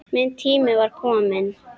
Minn tími var kominn.